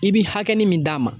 I bi hakɛnin min d'a ma